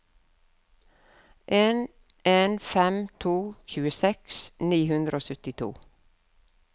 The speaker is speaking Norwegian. en en fem to tjueseks ni hundre og syttito